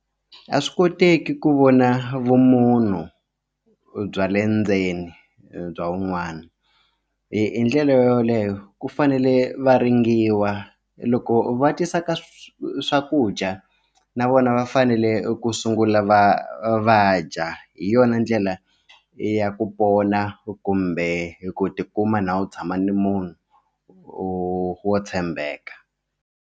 A swi koteki ku vona vumunhu bya le ndzeni bya wun'wana hi ndlela yoleyo ku fanele va ringiwa loko va tisa ka swakudya na vona va fanele ku sungula va vadya hi yona ndlela ya ku pona kumbe hi ku tikuma na u tshama ni munhu wo wo tshembeka.